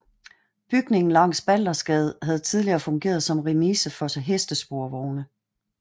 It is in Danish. Bygningen langs Baldersgade havde tidligere fungeret som remise for hestesporvogne